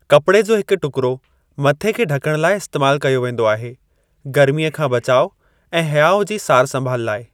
कपड़े जो हिक टुकिरो मथे खे ढकणु लाइ इस्तेमाल कयो वेंदो आहे, गरमीअ खां बचाउ ऐं हयाउ जी सारु संभाल लाइ।